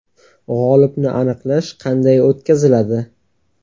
G‘olibni aniqlash qanday o‘tkaziladi?